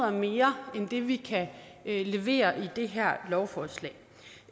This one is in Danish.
og mere end det vi kan levere med det her lovforslag